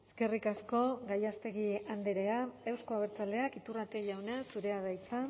eskerrik asko gallástegui andrea euzko abertzaleak iturrate jauna zurea da hitza